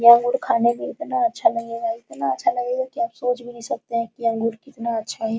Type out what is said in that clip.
यह अंगूर खाने में इतना अच्छा लगेगा इतना अच्छा लगेगा की आप सोच भी नहीं सकते है कि ये अंगूर कितना अच्छा है।